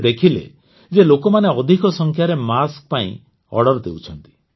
ସେ ଦେଖିଲେ ଯେ ଲୋକମାନେ ଅଧିକ ସଂଖ୍ୟାରେ ମାସ୍କ ପାଇଁ ଅର୍ଡର ଦେଉଛନ୍ତି